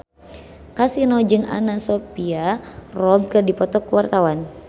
Kasino jeung Anna Sophia Robb keur dipoto ku wartawan